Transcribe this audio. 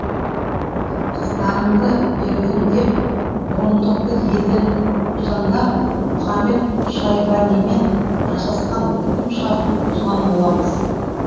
қыздарыңды бердің деп бұрындықты елден қусаңдар мұхамед шайбанимен жасасқан бітім шартын бұзған боламыз